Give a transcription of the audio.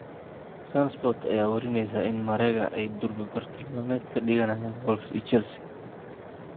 SunSport ayaa warineysa in Marega ay durba bartilmaameed ka dhiganayaan Wolves iyo Chelsea.